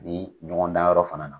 Ni ɲɔgɔn da yɔrɔ fana na.